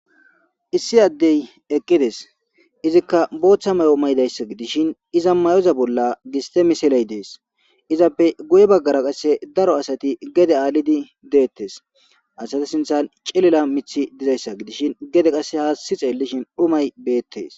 Issi adde eqides izika botha mayo matizayisa gidishe iza mayo bola gisite missile deasi izappe guye bagara qase daro asati gede adhidi detes asatu sintan cilila miti dizayisa gede qase hasi xelishe dhumay betes.